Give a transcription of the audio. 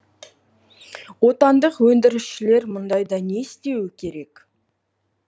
отандық өндірісшілер мұндайда не істеуі керек